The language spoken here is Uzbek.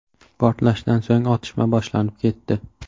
Portlashdan so‘ng otishma boshlanib ketdi.